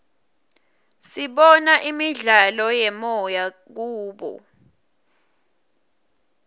sibona imidlalo yemoya kubo